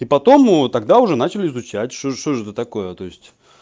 и потом его тогда уже начали изучать что что же это такое есть